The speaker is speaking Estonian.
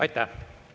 Aitäh!